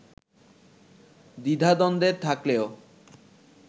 দ্বিধাদ্বন্দ্বে থাকলেও